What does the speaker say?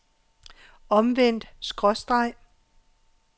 omvendt skråstreg